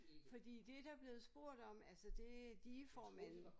Fordi det der blevet spurgt om altså det digeformanden